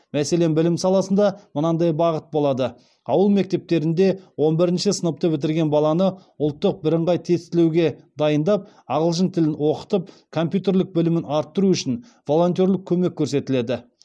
мәселен білім саласында мынандай бағыт болады ауыл мектептерінде он бірінші сыныпты бітірген баланы ұлттық бірыңғай тестілеуга дайындап ағылшын тілін оқытып компьютерлік білімін арттыру үшін волонтерлік көмек көрсетіледі